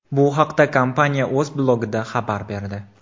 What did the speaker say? Bu haqda kompaniya o‘z blogida xabar berdi .